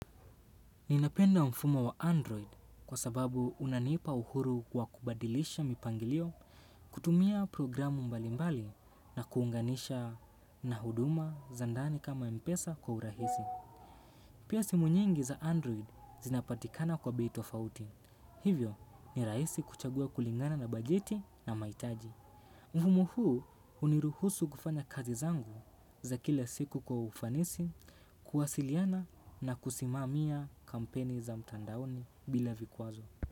Ninapenda mfumo wa Android kwa sababu unaniipa uhuru wa kubadilisha mipangilio kutumia programu mbalimbali na kuunganisha na huduma za ndani kama mpesa kwa urahisi. Pia simu nyingi za Android zinapatikana kwa bei tofauti. Hivyo ni rahisi kuchagua kulingana na bajeti na maitaji. Mfumo huu uniruhusu kufanya kazi zangu za kila siku kwa ufanisi, kuwasiliana na kusimamia kampeni za mtandaoni bila vikwazo.